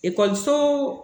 Ekɔliso